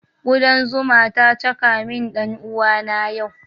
Kudan zuma ta caka min ɗan uwana yau